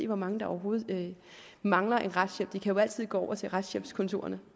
hvor mange der overhovedet mangler en retshjælp de kan jo altid gå over til retshjælpskontorerne